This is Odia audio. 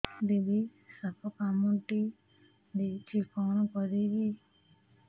ଦିଦି ସାପ କାମୁଡି ଦେଇଛି କଣ କରିବି